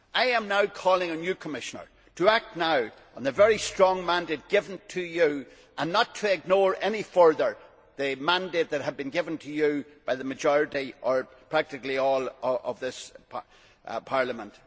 I am now calling on the Commissioner to act now on the very strong mandate given to her and not to ignore any further the mandate that had been given to her by the majority, or practically all, of this Parliament.